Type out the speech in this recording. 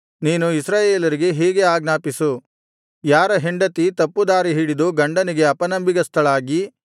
ನೀನು ಇಸ್ರಾಯೇಲರಿಗೆ ಹೀಗೆ ಆಜ್ಞಾಪಿಸು ಯಾರ ಹೆಂಡತಿ ತಪ್ಪು ದಾರಿ ಹಿಡಿದು ಗಂಡನಿಗೆ ಅಪನಂಬಿಗಸ್ತಳಾಗಿ